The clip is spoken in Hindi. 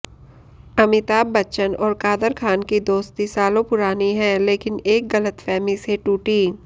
अमिताभ बच्चन और कादर खान की दोस्ती सालों पुरानी है लेकिन एक गलतफहमी से टूटी